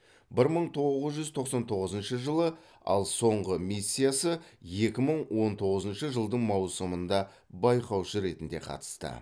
бір мың тоғыз жүз тоқсан тоғызыншы жылы ал соңғы миссиясы екі мың он тоғызыншы жылдың маусымында байқаушы ретінде қатысты